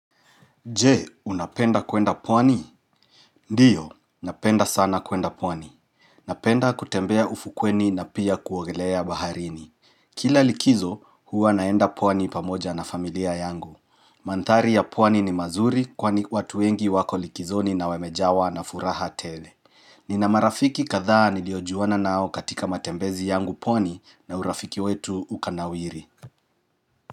Je, unapenda kwenda pwani? Ndio, napenda sana kwenda pwani. Napenda kutembea ufukweni na pia kuogelea baharini. Kila likizo, hua naenda pwani pamoja na familia yangu. Madhari ya pwani ni mazuri kwani watu wengi wako likizoni na wemejawa na furaha tele. Nina marafiki kadhaa niliojuana nao katika matembezi yangu pwani na urafiki wetu ukanawiri.